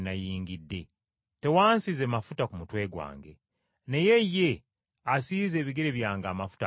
Tewansiize mafuta ku mutwe gwange, naye ye asiize ebigere byange amafuta ag’akaloosa.